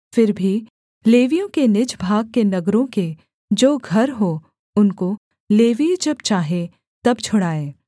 फिर भी लेवियों के निज भाग के नगरों के जो घर हों उनको लेवीय जब चाहें तब छुड़ाएँ